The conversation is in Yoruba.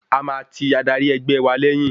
A máa ti adarí ẹgbẹ́ wa lẹ́yìn.